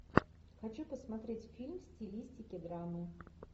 хочу посмотреть фильм в стилистике драмы